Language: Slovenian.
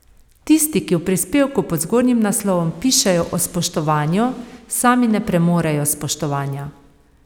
Tisti, ki v prispevku pod zgornjim naslovom pišejo o spoštovanju, sami ne premorejo spoštovanja.